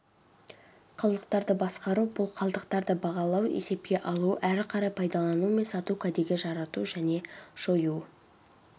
қалдықтарды басқару бұл қалдықтарды бағалау есепке алу әрі қарай пайдалану мен сату кәдеге жарату және жою